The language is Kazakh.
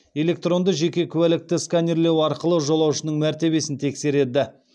электронды жеке куәлікті сканерлеу арқылы жолаушының мәртебесін тексереді